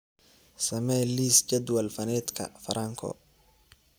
samee liis jadwal faneedka franco